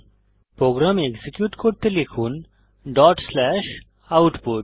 programme execute করতে লিখুন dot slash output